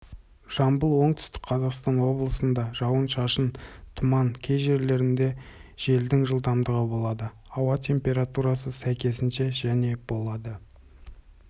жамбыл оңтүстік қазақстан облыстарында жауын-шашын тұман кей жерлерінде желдің жылдамдығы болады ауа температурасы сәйкесінше және болады